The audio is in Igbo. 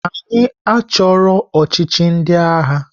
Anyị achọghị ọchịchị ndị agha!